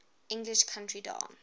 english country dance